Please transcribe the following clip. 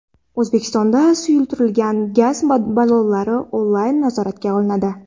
O‘zbekistonda suyultirilgan gaz ballonlari onlayn nazoratga olinadi.